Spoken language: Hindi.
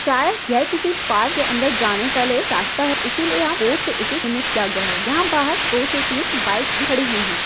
शायद ये किसी पार्क या अंदर जाने केलिए रस्ता है इसिलिय यहा इसे बोर्ड से किया गया है यहा बाहर दो से तीन बाइक्स भी खडी हुई है।